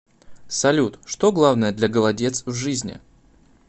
салют что главное для голодец в жизни